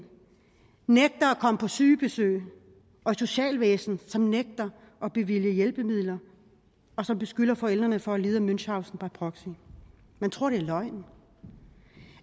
nægter at komme på sygebesøg og et socialvæsen som nægter at bevilge hjælpemidler og som beskylder forældrene for at lide af münchausen by proxy man tror det er løgn